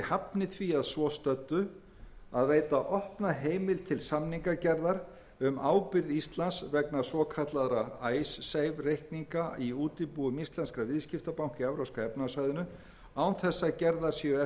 veita opna heimild til samningagerðar um ábyrgð íslands vegna svokallaðra icesave reikninga í útibúum íslenskra viðskiptabanka á evrópska efnahagssvæðinu án best að gerðar séu eftirfarandi kröfur a að